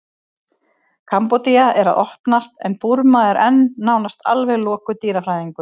kambódía er að opnast en burma er enn nánast alveg lokuð dýrafræðingum